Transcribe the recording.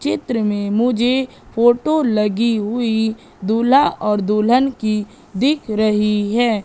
चित्र में मुझे फोटो लगी हुई दूल्हा और दुल्हन की दिख रही है।